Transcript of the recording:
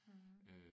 Mh